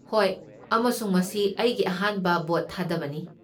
ꯍꯣꯏ, ꯑꯃꯁꯨꯡ ꯃꯁꯤ ꯑꯩꯒꯤ ꯑꯍꯥꯟꯕ ꯚꯣꯠ ꯊꯥꯗꯕꯅꯤ꯫